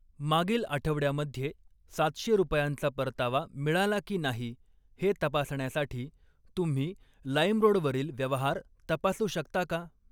मागील आठवड्या मध्ये सातशे रुपयांचा परतावा मिळाला की नाही हे तपासण्यासाठी तुम्ही लाईमरोड वरील व्यवहार तपासू शकता का?